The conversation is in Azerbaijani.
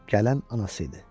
Gələn anası idi.